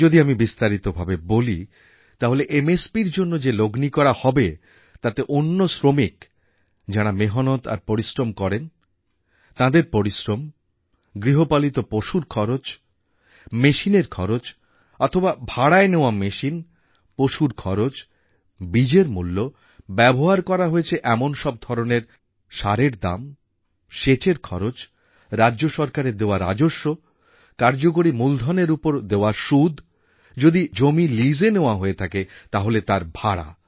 যদি আমি বিস্তারিত ভাবে বলি তাহলে MSPর জন্য যে লগ্নি করা হবে তাতে অন্য শ্রমিক যাঁরা মেহনত আর পরিশ্রম করেন তাঁদের পরিশ্রম গৃহপালিত পশুর খরচ মেশিনের খরচ অথবা ভাড়ায় নেওয়া মেশিন পশুর খরচ বীজের মূল্য ব্যবহার করা হয়েছে এমন সব ধরনের সারের দাম সেচের খরচ রাজ্য সরকারের দেওয়া রাজস্ব কার্যকরী মূলধনএর উপর দেওয়া সুদ যদি জমি লিজএ নেওয়া হয়ে থাকে তাহলে তার ভাড়া